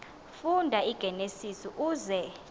funda igenesis uze